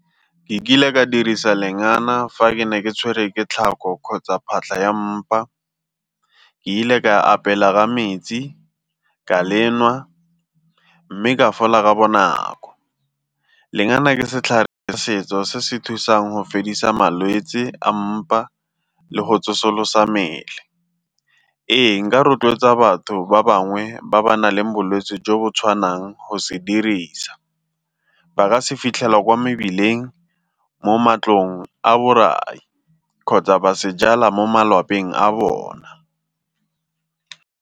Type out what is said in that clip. Ke kile ka dirisa lengana fa ke ne ke tshwere ke tlhago kgotsa phatlha ya mpa. Ke ile ka apela ka metsi ka le nwa mme ka fola ka bonako. Lengana ke setlhare, setso se se thusang go fedisa malwetsi a mpa le go tsosolosa mmele. Ee, nka rotloetsa batho ba bangwe ba ba nang le bolwetse jo bo tshwanang go se dirisa. Ba ka se fitlhelwa kwa mebileng mo matlong a borai kgotsa ba se jala mo malapeng a bona.